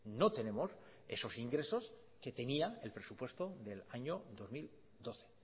no tenemos esos ingresos que tenía el presupuesto del año dos mil doce